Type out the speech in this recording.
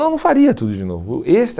Não faria tudo de novo. Esse